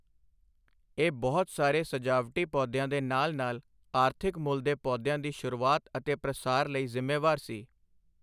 ਇਹ ਬਹੁਤ ਸਾਰੇ ਸਜਾਵਟੀ ਪੌਦਿਆਂ ਦੇ ਨਾਲ ਨਾਲ ਆਰਥਿਕ ਮੁੱਲ ਦੇ ਪੌਦਿਆਂ ਦੀ ਸ਼ੁਰੂਆਤ ਅਤੇ ਪ੍ਰਸਾਰ ਲਈ ਜ਼ਿੰਮੇਵਾਰ ਸੀ।